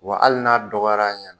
Wa hali n'a dɔgɔyara a ɲɛna